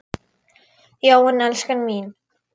Já en, elskan mín.